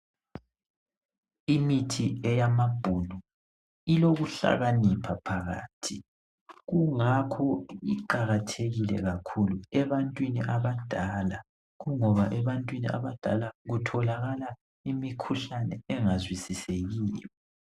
Imithi eyamabhunu ilokuhlakanipha phakathi kungakho kuqakathekile kakhulu ebantwini abadala ngoba ebantwini abadala kutholakala imikhuhlane engazwisisekiyo.